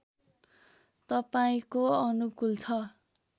तपाईँको अनुकूल छ